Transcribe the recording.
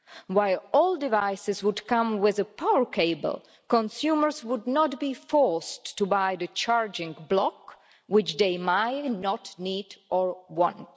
While all devices would come with a power cable, consumers would not be forced to buy the charging block, which they may not need or want.